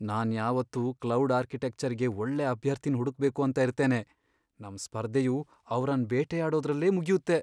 ನಾನ್ ಯಾವಾತ್ತು cloud architecture ಗೆ ಒಳ್ಳೆ ಅಭ್ಯರ್ಥಿನ್ ಹುಡುಕ್ ಬೇಕು ಅಂತ ಇರ್ತೇನೆ. ನಮ್ ಸ್ಪರ್ಧೆಯು ಅವ್ರನ್ ಬೇಟೆಯಾಡೋದ್ರಲ್ಲೇ ಮುಗ್ಯುತ್ತೆ.